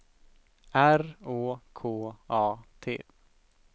R Å K A T